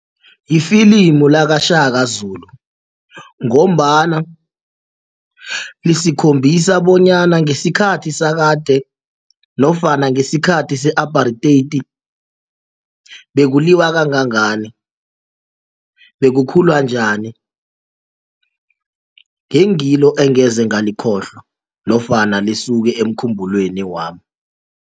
Lifilimu lakaShaka Zulu ngombana lisikhombisa bonyana ngesikhathi sakade nofana ngesikhathi se-apartheid bekuliwa kangangani bekukhulwa njani ngengilo engeze ngalikhohlwa nofana lisuke emkhumbulweni wami.